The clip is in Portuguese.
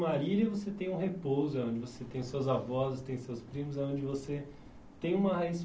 em Marília você tem um repouso, é onde você tem suas avós, tem seus primos, é onde você tem uma raiz